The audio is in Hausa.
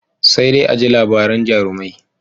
Sai dai a ji labaran jarumai.